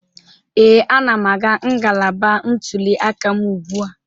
Ee, anam aga ngalaba ntuli aka m ugbu a.